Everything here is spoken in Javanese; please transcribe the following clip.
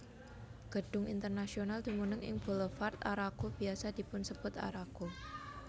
Gedung Internasional dumunung ing Boulevard Arago biasa dipunsebut Arago